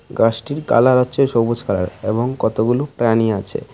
গাসটির colour হচ্ছে সবুজ colour এবং কতগুলো প্রাণী আছে।